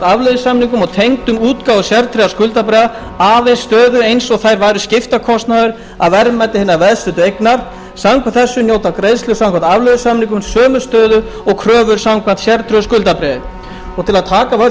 afleiðusamningum tengdum útgáfu sértryggðra skuldabréfa aðeins stöðu eins og þær væru skiptakostnaður af verðmæti hinnar veðsettu eignar samkvæmt þessu njóta greiðslur samkvæmt afleiðusamningum sömu stöðu og kröfur samkvæmt sértryggðu skuldabréfi til að taka af öll